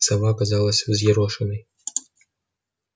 сова казалась взъерошенной